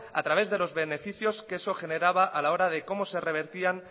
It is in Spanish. a través de los beneficios que eso generaba a la hora de cómo se revertían